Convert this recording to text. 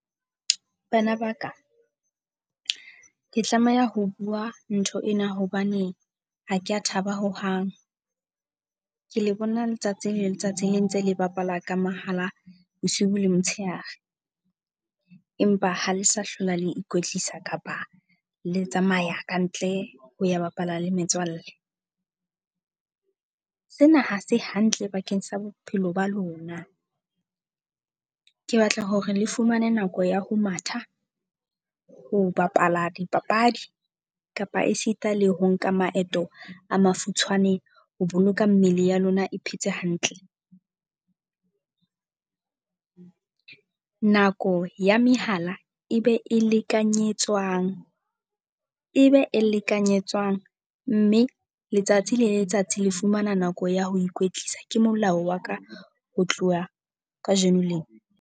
Bana ba ka, ke tlameha ho bua ntho ena hobane ha ke a thaba hohang. Ke le bona letsatsi le letsatsi le ntse le bapala ka mohala, bosibu le motshehare. Empa ha le sa hlola le ikwetlisa kapa le tsamaya ka ntle ho ya bapala le metswalle. Sena ha se hantle bakeng sa bophelo ba lona. Ke batla hore le fumane nako ya ho matha, ho bapala dipapadi kapa esita le ho nka maeto a mafutshwane, ho boloka mmele ya lona e phetse hantle. Nako ya mehala e be e lekanyetswang e be e lekanyetswang. Mme letsatsi le letsatsi le fumana nako ya ho ikwetlisa ke molao wa ka, ho tloha kajeno lena.